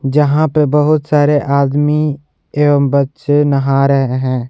जहां पे बहुत सारे आदमी एवं बच्चे नहा रहे हैं।